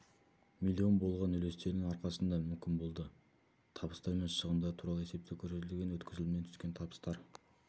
миллион болған үлестерінің арқасында мүмкін болды табыстар мен шығындар туралы есепте көрсетілген өткізілімнен түскен табыстар